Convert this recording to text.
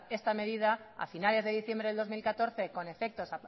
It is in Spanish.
esta medida a finales de diciembre del dos mil catorce con efectos